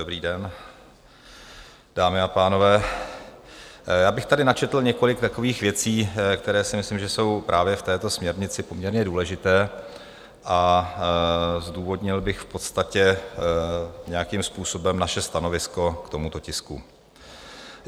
Dobrý den, dámy a pánové, já bych tady načetl několik takových věcí, které si myslím, že jsou právě v této směrnici poměrně důležité, a zdůvodnil bych v podstatě nějakým způsobem naše stanovisko k tomuto tisku.